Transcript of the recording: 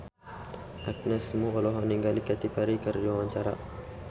Agnes Mo olohok ningali Katy Perry keur diwawancara